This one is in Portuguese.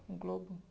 Um globo.